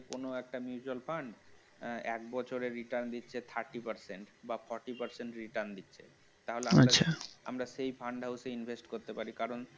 কোন একটা mutual fund এক বছরে return দিচ্ছে thirty percent বা forty percent return দিচ্ছে তাহলে আমরা সেই fund house এ invest করতে পারি কারণ